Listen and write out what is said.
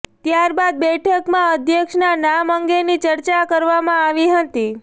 ત્યાર બાદ બેઠકમાં અધ્યક્ષના નામ અંગેની ચર્ચા કરવામાં આવી હતી